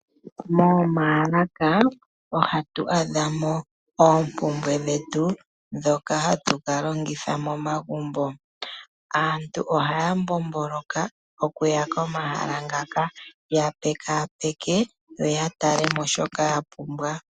Momaalaka ohatu adha mo oompumbwe dhetu ndhoka hatu ka longitha momagumbo. Aantu ohaya mbomboloka oku ya komahala ngaka, ya pekaapeke, yo ya tale mo shoka ya pumbwa.